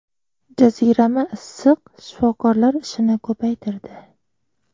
Jazirama issiq shifokorlar ishini ko‘paytirdi.